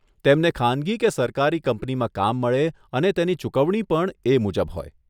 તેમને ખાનગી કે સરકારી કંપનીમાં કામ મળે અને તેની ચુકવણી પણ એ મુજબ હોય.